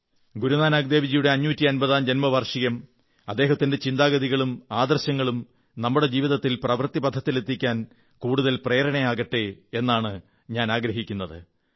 ഗുരുനാനക് ദേവ്ജിയുടെ 550ാം ജന്മവാർഷികം അദ്ദേഹത്തിന്റെ ചിന്താഗതികളും ആദർശങ്ങളും നമ്മുടെ ജീവിതത്തിൽ പ്രവൃത്തിപഥത്തിലെത്തിക്കാൻ കൂടുതൽ പ്രേരണയാകട്ടെ എന്നാണ് ഞാൻ ആഗ്രഹിക്കുന്നത്